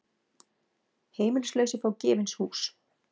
Heimilislausir fá gefins hús